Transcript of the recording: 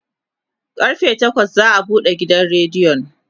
karfe takwas za'a buɗe gidan rediyon